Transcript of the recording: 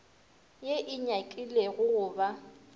ye e nyakilego go ba